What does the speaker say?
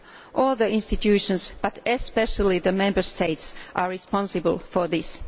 All the institutions but especially the Member States are responsible for this.